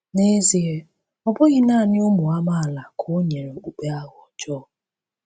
N’ezie ọ bụghị naanị ụmụ amaala ka o nyere okpukpe aha ọjọọ.